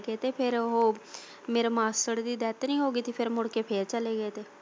ਚਲੇ ਗਏ ਸੀ ਤੇ ਫਿਰ ਉਹੋ ਮੇਰੇ ਮਾਸੜ ਦੀ death ਨੀ ਹੋਗੀ ਸੀ ਫਿਰ ਮੁੜ ਕੇ ਫਿਰ ਚਲੇ ਗਏ ਸੀ ਉਹ।